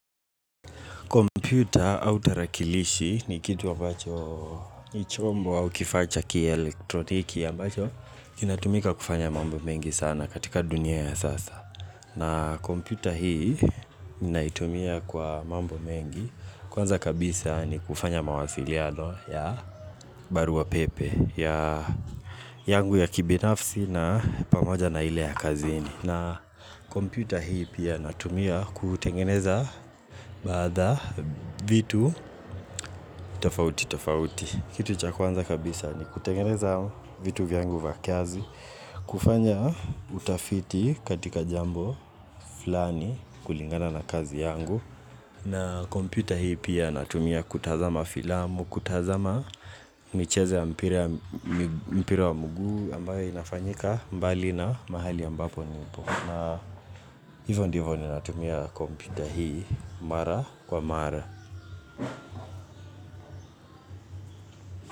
Kompyuta au tarakilishi ni kitu ambacho ni chombo au kifaa cha kielektroniki ambacho kinatumika kufanya mambo mengi sana katika dunia ya sasa na kompyuta hii ninaitumia kwa mambo mengi Kwanza kabisa ni kufanya mawasiliano ya barua pepe. Ya yangu ya kibinafsi na pamoja na ile ya kazini. Na kompyuta hii pia natumia kutengeneza bidhaa vitu tofauti tofauti. Kitu cha kwanza kabisa ni kutengeneza vitu vyangu vya kazi kufanya utafiti katika jambo fulani kulingana na kazi yangu na kompyuta hii pia natumia kutazama filamu, kutazama michezo mpira wa mguu ambayo inafanyika mbali na mahali ambapo nipo. Na hivyo ndivyo ninatumia kompyuta hii mara kwa mara.